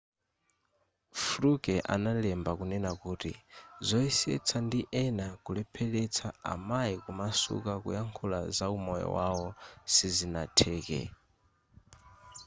fluke analemba kunena kuti zoyesetsa ndi ena kulepheretsa amayi kumasuka kuyankhula zaumoyo wawo sizinatheke